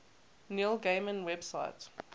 neil gaiman website